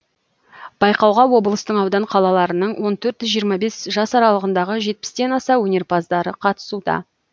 байқауға облыстың аудан қалаларының он төрт жиырма бес жас аралығындағы жетпістен аса өнерпаздар қатысуда